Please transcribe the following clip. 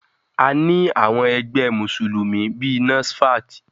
A ní àwọn ẹgbẹ́ Mùsùlùmí bíi NASFAT.